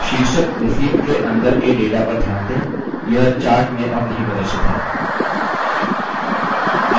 शीर्षक received के अंदर के data पर ध्यान दें यह chart में अब नहीं प्रदर्शित है